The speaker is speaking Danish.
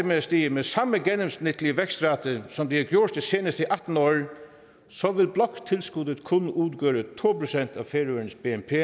med at stige med samme gennemsnitlige vækstrate som det har gjort de seneste atten år så vil bloktilskuddet kun udgøre to procent af færøernes bnp